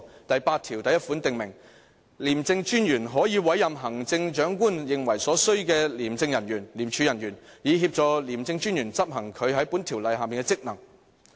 "第81條訂明："廉政專員可委任行政長官認為所需的廉署人員，以協助廉政專員執行他在本條例下的職能。